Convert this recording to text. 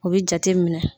O bi jate minɛ